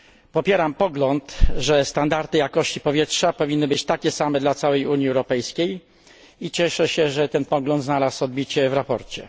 Popieram pogląd, że standardy jakości powietrza powinny być takie same dla całej Unii Europejskiej, i cieszę się, że ten pogląd znalazł odbicie w sprawozdaniu.